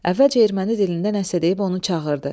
Əvvəlcə erməni dilində nəsə deyib onu çağırdı.